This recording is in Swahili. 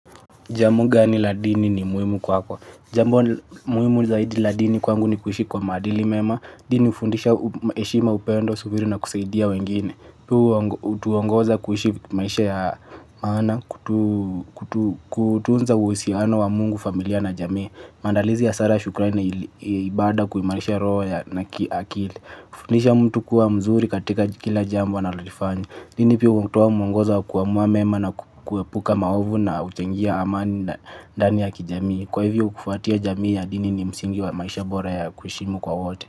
Jambo gani la dini ni muhimu kwako. Jamu muhimu zaidi la dini kwangu ni kuhishi kwa maadili mema. Dini ufundisha eshima upendo subiri na kusaidia wengine. Huu tuongoza kuhishi maisha ya maana kutunza uhusiana wa mungu familia na jamii. Mandalizi ya sala ya shukrani na ibada kuhimalisha roho ya na kiakili. Kufundisha mtu kuwa mzuri katika jikila jambo analolifanya. Dini pia kukutuwa mwangoza wa kuamuwa mema na kuepuka maovu na uchengia amani na ndani ya kijamii. Kwa hivyo kufuatia jamii ya dini ni msingiwa maisha bora ya kuheshimu kwa wote.